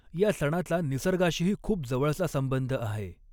या सणाचा निसर्गाशीही खूप जवळचा संबंध आहे.